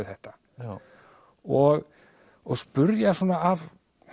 þetta og og spyrja svona af